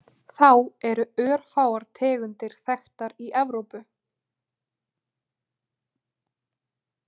Þá eru örfáar tegundir þekktar í Evrópu.